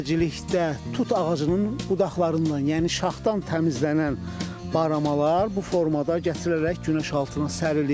İməcilikdə tut ağacının budaqlarından, yəni şaxdan təmizlənən baramalar bu formada gətirilərək günəş altına sərilir.